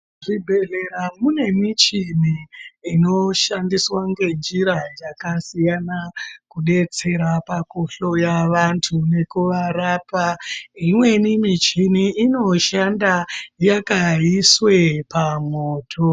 Zvibhedhlera mune michini inoshandiswa ngenjira dzakasiyana kudetsera pakuhloya vanthu nekuvarapa imweni michini inoshanda yakaiswe pamwoto.